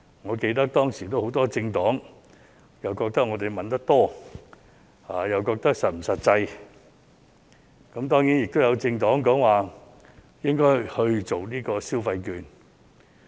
我記得當時很多政黨說我們提議的金額太多，又質疑是否實際，當然，亦有政黨認為應該派發消費券。